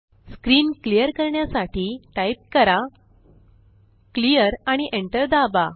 screen clear करण्यासाठी type करा clearआणि एंटर दाबा